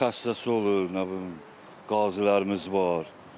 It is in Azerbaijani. Xəstəsi olur, nə bilim, qazilərimiz var.